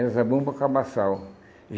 Era Zabumba Cabassal.